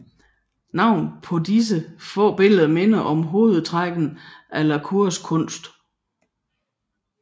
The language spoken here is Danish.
Navnene på disse få billeder minder om hovedtrækkene i la Cours kunst